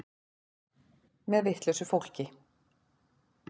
Með vitlausu fólki.